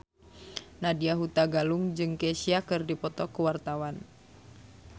Nadya Hutagalung jeung Kesha keur dipoto ku wartawan